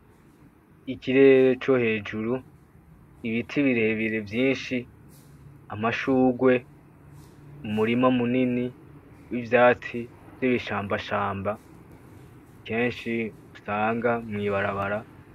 Ikirere co hejuru, ibiti birebire vyinshi, amashurwe, umurima munini w'ivyatsi vy'ibishambashamba kenshi usanga mw'ibarabara.